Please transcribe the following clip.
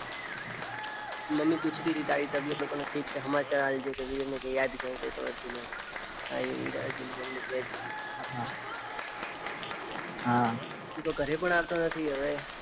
Mummy પૂછતીતી તારી તબિયાતનું પણ ઠીક છે સમાચાર આપજે. કે વિવેકને કઈક યાદ કરતોતો અર્જુન એમ. તારી રાહ જોઈને મમ્મી કેતીતી. હા, તુ તો ઘરે પણ આવતો નથી હવે.